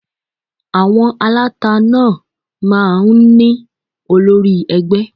À̀wọn aláta náà máa ń ní olórí ẹgbẹ́